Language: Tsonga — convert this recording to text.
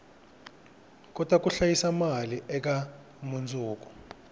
kota ku hlayisa mali eka mundzuku